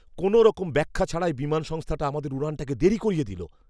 কোনওরকম ব্যাখ্যা ছাড়াই বিমান সংস্থাটা আমাদের উড়ানটাকে দেরি করিয়ে দিল।